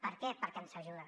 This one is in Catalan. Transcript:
per què perquè ens ajuda